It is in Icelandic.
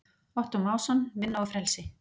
Ottó Másson, Vinna og frelsi.